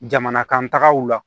Jamana kan tagaw la